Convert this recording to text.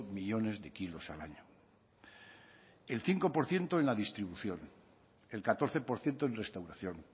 millónes de kilos al año el cinco por ciento en la distribución el catorce por ciento en restauración